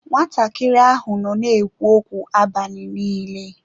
Nwatakịrị ahụ nọ na-ekwu okwu abalị niile.